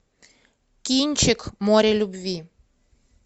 кинчик море любви